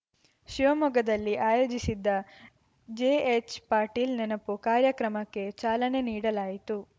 ಶಿವಮೊಗ್ಗದಲ್ಲಿ ಆಯೋಜಿಸಿದ್ದ ಜೆಎಚ್‌ಪಾಟೀಲ್ ನೆನಪು ಕಾರ್ಯಕ್ರಮಕ್ಕೆ ಚಾಲನೆ ನೀಡಲಾಯಿತು